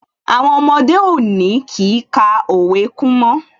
Àwọn ọmọdé òde òní kìí ka òwe kún mọ́